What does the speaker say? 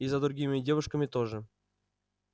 и за другими девушками тоже